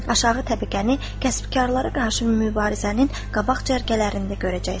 Aşağı təbəqəni kəsbkarlara qarşı mübarizənin qabaq cərgələrində görəcəksən.